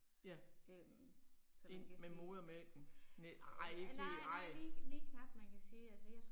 Ja. Ind med modermælken, med ej ikke helt ej